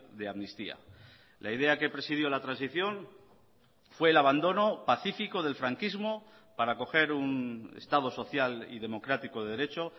de amnistía la idea que presidió la transición fue el abandono pacífico del franquismo para acoger un estado social y democrático de derecho